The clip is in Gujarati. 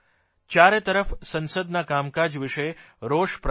ચારેતરફ સંસદના કામકાજ વિષે રોષ પ્રગટ થયો